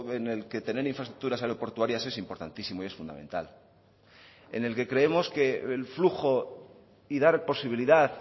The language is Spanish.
en el que tener infraestructuras aeroportuarias es importantísimo y es fundamental en el que creemos que el flujo y dar posibilidad